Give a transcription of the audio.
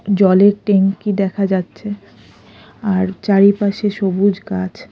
জলের ট্যাঙ্ক -ই দেখা যাচ্ছে আর চারিপাশে সবুজ গাছ।